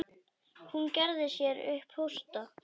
Hún gerði sér upp hósta.